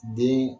Den